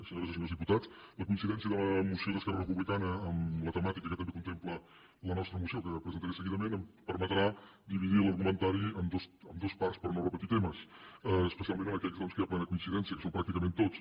senyores i senyors diputats la coincidència de la moció d’esquerra republicana amb la temàtica que també contempla la nostra moció que presentaré seguidament em permetrà dividir l’argumentari en dues parts per no repetir temes especialment en aquells doncs que hi ha plena coincidència que són pràcticament tots